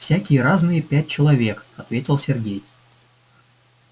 всякие разные пять человек ответил сергей